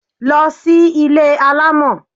Lọ sí ilé alamọ!